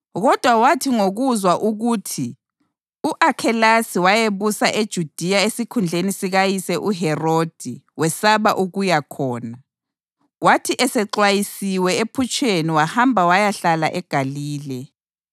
Kodwa wathi ngokuzwa ukuthi u-Akhelasi wayebusa eJudiya esikhundleni sikayise uHerodi wesaba ukuya khona. Kwathi esexwayisiwe ephutsheni wahamba wayahlala eGalile,